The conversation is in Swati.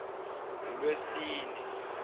ngulwesine